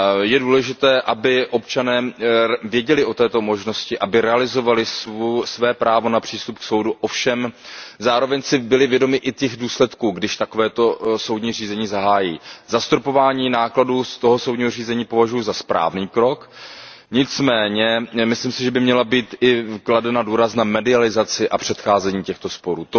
Je důležité, aby občané věděli o této možnosti a aby realizovali své právo na přístup k soudu, zároveň aby si však byli vědomi i těch důsledků, když takovéto soudní řízení zahájí. Zastropování nákladů soudního řízení považuji za správný krok, nicméně si myslím, že by měl být kladen důraz i na mediaci a předcházení těmto sporům.